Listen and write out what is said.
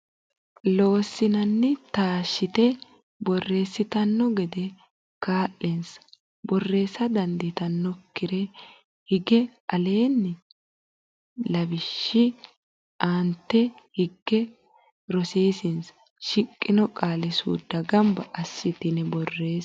Loossinanni taashshite borreessitanno gede kaa linsa borreessa dandiitinokkire higge Aleenni ini lawishshi aante higge rosiisinsa shiqqino qaali suudda gamba assitine borreesse.